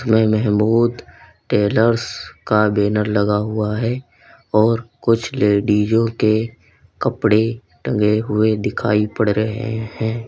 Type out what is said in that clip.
में मेहमूद टेलर्स का बैनर लगा हुआ है और कुछ लेडीजों के कपड़े टंगे हुए दिखाई पड़ रहे हैं।